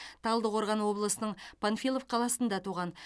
талдықорған облысының панфилов қаласында туған